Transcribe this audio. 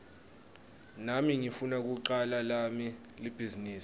nami ngifuna kucala lami libhizinisi